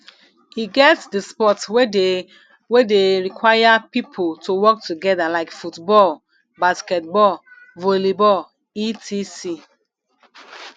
e get di sport wey de wey de require pipo to work together like football basketball volleyball etc